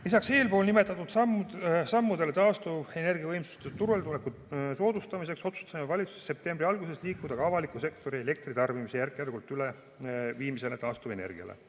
Lisaks eelpool nimetatud sammudele taastuvenergiavõimsuste turuletuleku soodustamiseks otsustasime valitsuses septembri alguses järk-järgult liikuda ka avaliku sektori elektritarbimise taastuvenergiale üleviimise poole.